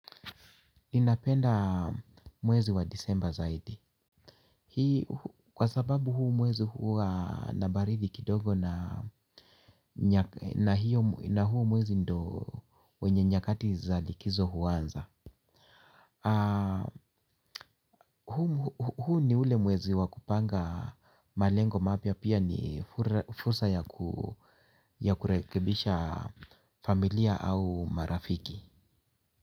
Ninapenda mwezi wa disemba zaidi, hii kwasababu huu mwezi huwa nabaridi kidogo na huu mwezi ndio wenye nyakati za likizo huanza. Huu ni ule mwezi wa kupanga malengo mapia pia ni fursa ya kurekebisha familia au marafiki.